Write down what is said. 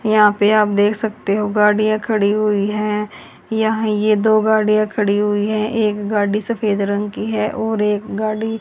यहां पे आप देख सकते हो गाड़ियां खड़ी हुई हैं यहीं ये दो गाड़ियां खड़ी हुई हैं एक गाड़ी सफेद रंग की है और एक गाड़ी--